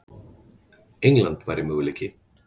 England væri möguleiki.